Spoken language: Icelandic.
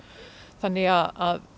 þannig að